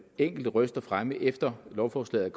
enkelte røster fremme efter at lovforslaget